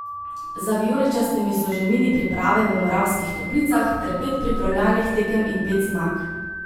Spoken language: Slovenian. Za vijoličastimi so že mini priprave v Moravskih Toplicah ter pet pripravljalnih tekem in pet zmag.